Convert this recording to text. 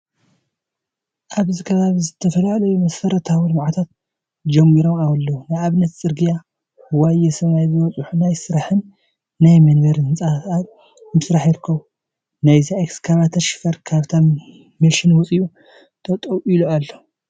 ኣብዚ ከባቢ ዝተፈላለዩ መሰረታዊ ልምዓታት ጅማሮታት ኣለው ንኣብነት፦ ፅርግያ፣ ዋየ! ሰማይ ዝበፅሑ ናይ ስራሕን ናይ መንበሪን ህንፃታት ኣብ ምስራሕ ይርከቢ። ናይዛ ኤክካቫተር ሽፈር ካብታ መሽን ወፂኡ ጠጠው ኢሉ ኣሎ።